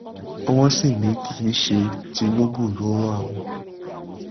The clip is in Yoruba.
wọ́n sì ní kì í ṣe tinúbù ló ran àwọn